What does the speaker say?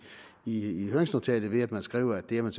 i høringsnotatet ved at man skriver at det er man